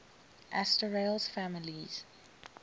asterales families